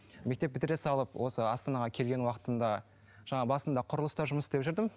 мектеп бітіре салып осы астанаға келген уақытында жаңа басында құрылыста жұмыс істеп жүрдім